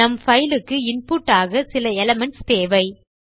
நம் பைல் க்கு இன்புட் ஆக சில எலிமென்ட்ஸ் தேவை